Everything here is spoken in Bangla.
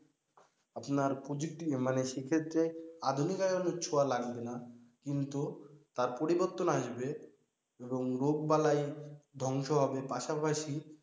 আপনার প্রযুক্তি মানে সেক্ষেত্রে আধুনিকায়নের ছোঁয়া লাগবে না কিন্তু তার পরিবর্তন আসবে এবং রোগ বালাই ধংস হবে পাশাপাশি,